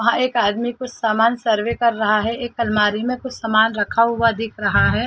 वहाँ एक आदमी कुछ सामान सर्वे कर रहा है एक अलमारी में कुछ सामान रखा हुआ दिख रहा है।